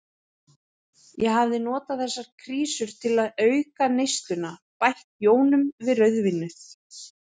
Ég hafði notað þessar krísur til auka neysluna, bætt jónum við rauðvínið.